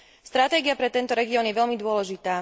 Stratégia pre tento región je veľmi dôležitá.